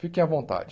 Fiquem à vontade.